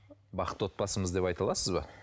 бақытты отбасымыз деп айта аласыз ба